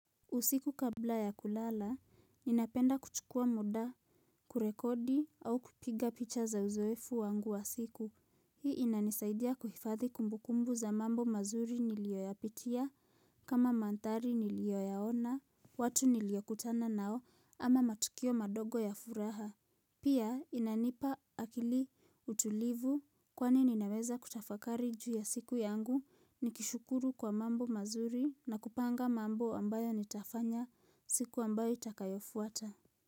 Usiku kabla ya kulala, ninapenda kuchukua muda, kurekodi au kupiga picha za uzoefu wangu wa siku. Hii inanisaidia kuhifadhi kumbukumbu za mambo mazuri niliyoyapitia, kama manthari niliyoyaona, watu niliyokutana nao, ama matukio madogo ya furaha. Pia, inanipa akili utulivu kwani ninaweza kutafakari juu ya siku yangu, nikishukuru kwa mambo mazuri na kupanga mambo ambayo nitafanya siku ambayo itakayofuata.